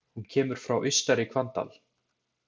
Hún kemur frá Austari-Hvanndal.